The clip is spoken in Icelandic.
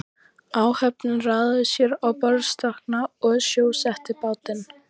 Áhöfnin raðaði sér á borðstokkana og sjósetti bátinn.